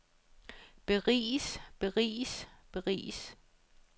beriges beriges beriges